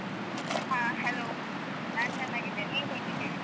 ಹ Hello ನಾನ್ ಚೆನ್ನಾಗಿದ್ದೇನೆ ನೀವ್ ಹೇಗಿದ್ದೀರಿ?